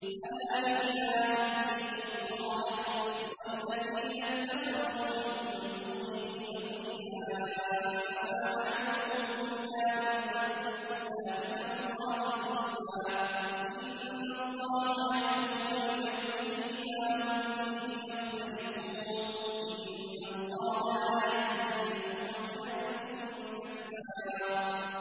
أَلَا لِلَّهِ الدِّينُ الْخَالِصُ ۚ وَالَّذِينَ اتَّخَذُوا مِن دُونِهِ أَوْلِيَاءَ مَا نَعْبُدُهُمْ إِلَّا لِيُقَرِّبُونَا إِلَى اللَّهِ زُلْفَىٰ إِنَّ اللَّهَ يَحْكُمُ بَيْنَهُمْ فِي مَا هُمْ فِيهِ يَخْتَلِفُونَ ۗ إِنَّ اللَّهَ لَا يَهْدِي مَنْ هُوَ كَاذِبٌ كَفَّارٌ